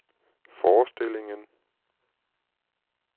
forestillingen